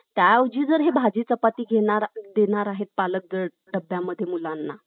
कलम सोळाचा अर्थ आहे. त्यानंतर कलम सतरा. तर कलम सतरामध्ये काय~ काय दिलेलं आहे? अस्पृश्यतेचा नष्ट करायची. अस्पृ~ अस्पृश्यता नष्ट करायची.